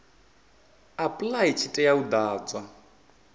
apply tshi tea u ḓadzwa